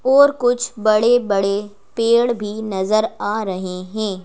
और कुछ बड़े-बड़े पेड़ भी नजर आ रहे हैं।